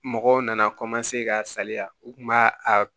Mɔgɔw nana ka salaya u kun b'a a